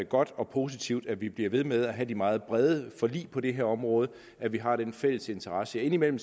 godt og positivt at vi bliver ved med at have de meget brede forlig på det her område at vi har den fælles interesse indimellem